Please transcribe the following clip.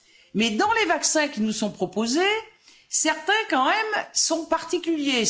Mais dans les vaccins qui nous sont proposés, certains quand même sont particuliers.